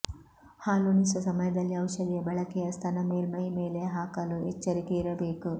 ಹಾಲುಣಿಸುವ ಸಮಯದಲ್ಲಿ ಔಷಧಿಯ ಬಳಕೆಯ ಸ್ತನ ಮೇಲ್ಮೈ ಮೇಲೆ ಹಾಕಲು ಎಚ್ಚರಿಕೆ ಇರಬೇಕು